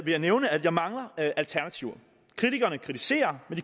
jeg nævne at jeg mangler alternativer kritikerne kritiserer men